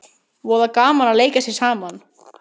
Voða gaman að leika sér saman